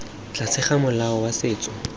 tlase ga molao wa setso